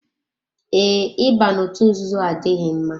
Ee, Ị ba n'otu nzuzo adịghị mma.